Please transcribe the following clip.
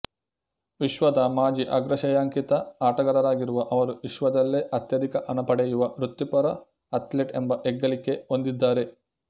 ವಿಶ್ವದ ಮಾಜಿ ಅಗ್ರಶ್ರೇಯಾಂಕಿತ ಆಟಗಾರರಾಗಿರುವ ಅವರು ವಿಶ್ವದಲ್ಲೇ ಅತ್ಯಧಿಕ ಹಣ ಪಡೆಯುವ ವೃತ್ತಿಪರ ಅಥ್ಲೇಟ್ ಎಂಬ ಹೆಗ್ಗಳಿಕೆ ಹೊಂದಿದ್ದಾರೆ